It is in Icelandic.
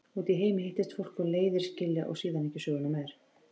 Úti í heimi hittist fólk og leiðir skilja og síðan ekki söguna meir.